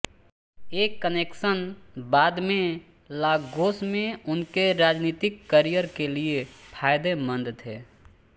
ये कनेक्शन बाद में लागोस में उनके राजनीतिक करियर के लिए फायदेमंद थे